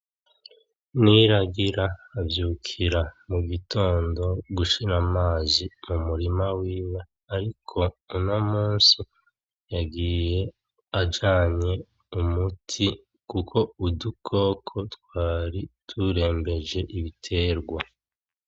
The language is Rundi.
Niragira avyukira mu gitondo gushira amazi mu murima wiwe. Ariko uyu munsi yagiye ajanye umuti kuko udukoko twari turembeje ibiterwa.